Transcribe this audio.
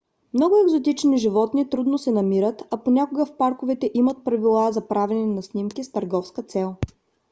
много екзотични животни трудно се намират а понякога в парковете имат правила за правене на снимки с търговска цел